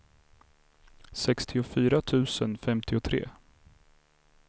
sextiofyra tusen femtiotre